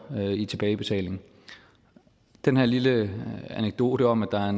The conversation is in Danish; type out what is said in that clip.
i tilbagebetaling den her lille anekdote om at der er